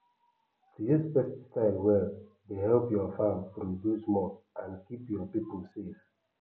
to use pesticide well dey help your farm produce more and keep your people safe